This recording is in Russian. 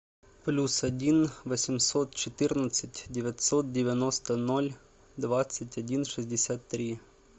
плюс один восемьсот четырнадцать девятьсот девяносто ноль двадцать один шестьдесят три